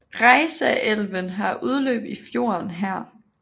Reisaelven har udløb i i fjorden her